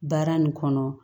Baara nin kɔnɔ